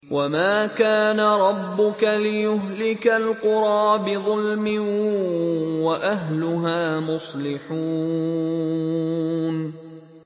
وَمَا كَانَ رَبُّكَ لِيُهْلِكَ الْقُرَىٰ بِظُلْمٍ وَأَهْلُهَا مُصْلِحُونَ